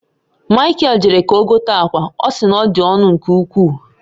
Mikael jere ka ọ gote akwa, ọ si na ọ dị ọnụ nke ukwuu